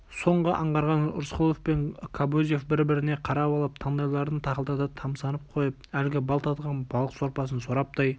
соны аңғарған рысқұлов пен кобозев бір-біріне қарап алып таңдайларын тақылдата тамсанып қойып әлгі бал татыған балық сорпасын сораптай